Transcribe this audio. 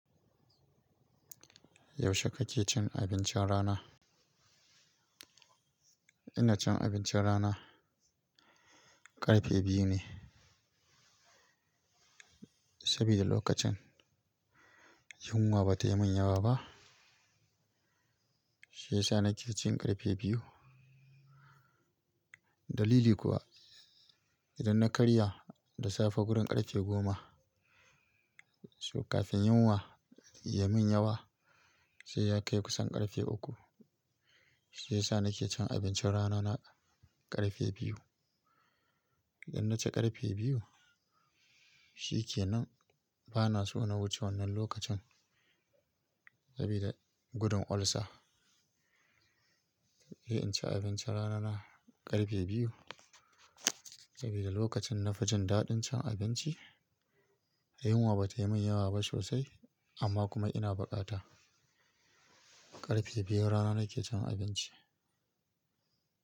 Yaushe kake cin abincin rana? Ina cin abincin rana ƙarfe biyu ne. Saboda lokacin yunwa bata yi min yawa ba, shi ya sa nake cin ƙarfe biyu. Dalili kuwa idan na kariya da safe gurin ƙarfe goma, kafin yunwa ya min yawa sai ya kai kusan ƙarfe uku. Shi ya sa nake cin abincin rana na ƙarfe biyu. Idan na ci ƙarfe biyu shi ke nan bana so na wuce wannan lokacin saboda gudun olsa. Eh, inci abinci rana na ƙarfe biyu saboda lokacin na fi jin daɗin cin abinci. Yunwa bata yi min yawa ba sosai amma kuma ina buƙata. Ƙarfe biyun rana nake cin abinci.